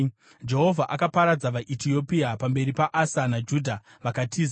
Jehovha akaparadza vaEtiopia pamberi paAsa naJudha vakatiza,